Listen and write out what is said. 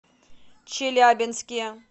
челябинске